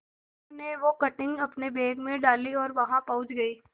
मीनू ने वो कटिंग अपने बैग में डाली और वहां पहुंच गए